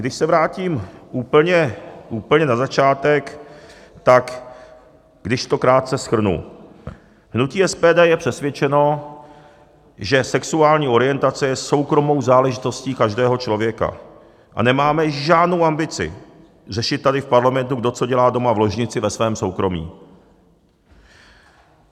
Když se vrátím úplně na začátek, tak když to krátce shrnu: hnutí SPD je přesvědčeno, že sexuální orientace je soukromou záležitostí každého člověka a nemáme žádnou ambici řešit tady v parlamentu, kdo co dělá doma v ložnici ve svém soukromí.